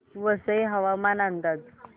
वसई हवामान अंदाज